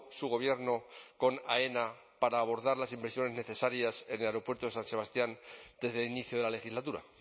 su gobierno con aena para abordar las inversiones necesarias en el aeropuerto de san sebastián desde el inicio de la legislatura